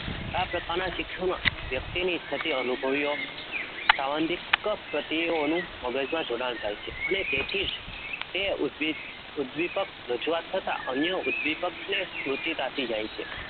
આ પ્રકારના શિક્ષણમાં વ્યક્તિની થતી અનુભવીઓ સાબંધિક પ્રતિઓનું મગજમાં જોડાણ થાય છે અને તેથી જ તે ઉદ્વી ઉદ્દીપક રજુઆત થતાં અન્ય ઉદ્દીપકને સ્મૃતિતા થઈ જાય છે